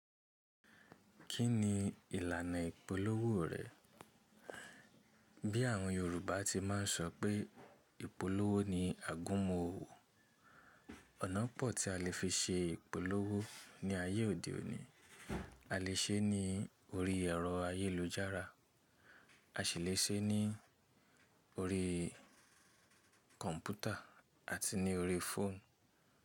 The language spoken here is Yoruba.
Kí ni ìlànà ìpolówó rẹ̀? Bí àwọn Yorùbá ti máa ń sọ pé ìpolówó ni àgúnmu owó. Ọ̀nà pọ̀ tí a lè fi ṣe ìpolówó ní ayé òde òní. A lè ṣe ní orí ẹ̀rọ ayélujára, a ṣì lè ṣe ní orí kọ̀ǹpútà àti ní orí fóònù.